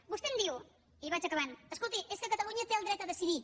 vostè em diu i vaig acabant escolti és que catalunya té el dret a decidir